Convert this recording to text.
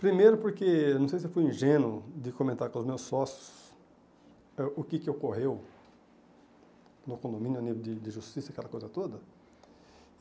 Primeiro porque, não sei se eu fui ingênuo, de comentar com os meus sócios eh o que que ocorreu no condomínio, no nível de de justiça, aquela coisa toda.